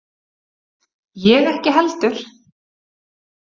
Ég ekki heldur.